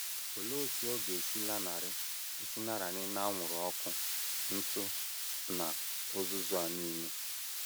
Olee otú ọ ga - esi lanarị - esi lanarị n’anwụrụ ọkụ, ntụ, na uzuzu a nile?